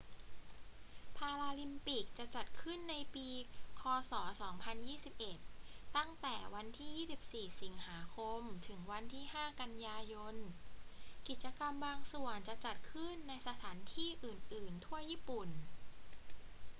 พาราลิมปิกจะจัดขึ้นในปีค ศ. 2021 ตั้งแต่วันที่ 24 สิงหาคม ถึงวันที่ 5 กันยายน กิจกรรมบางส่วนจะจัดขึ้นในสถานที่อื่น ๆ ทั่วญี่ปุ่น